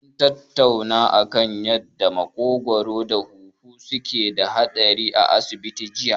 Mun tattauna kan yanda maƙogwaro da huhu suke da haɗi a asibiti jiya.